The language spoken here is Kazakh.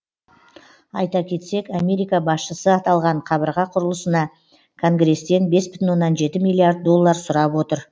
айта кетсек америка басшысы аталған қабырға құрылысына конгресстен бес бүтін жеті миллиард доллар сұрап отыр